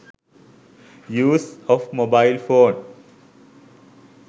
use of mobile phone